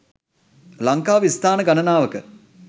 ලංකාවේ ස්ථාන ගණනාවක